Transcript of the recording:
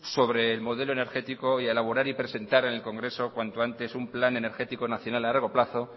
sobre el modelo energético y a elaborar y presentar en el congreso cuanto antes un plan energético nacional a largo plazo